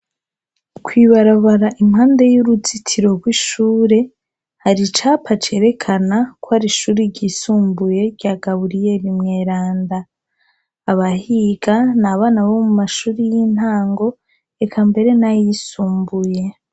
kwibarabara impande y'uruzitiro rw'ishure hari icapa cerekana ko ari ishuri ryisumbuye rya gabuliyeli mweranda abahiga na abana bo mu mashure y'intango reka mbere nayisumbuye